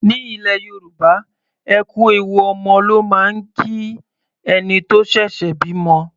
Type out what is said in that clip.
Ní ilẹ̀ Yorùbá, ẹ kú ewu ọmọ ló máa ń kí ẹni tó ṣẹ̀ṣẹ̀ bímọ.